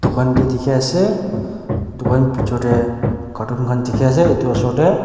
moi khan tu dikhiase dukan bichortae carton khan dikhiase edu osor tae.